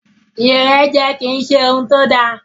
Ìrẹ́jẹ kì í ṣe ohun tó da.